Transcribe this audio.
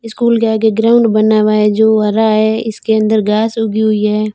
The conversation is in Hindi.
स्कूल के आगे ग्राउंड बना हुआ है जो हरा है इसके अंदर घास उगी हुई है।